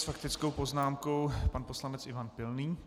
S faktickou poznámkou pan poslanec Ivan Pilný.